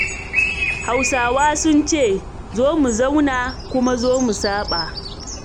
Hausawa sun ce" zo mu zauna kuma zo mu saɓa'